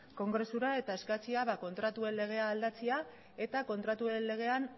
kongresura eta eskatzea kontratuen legea aldatzea eta kontratuen legean